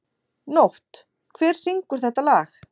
Nótt, hver syngur þetta lag?